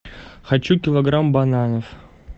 хочу килограмм бананов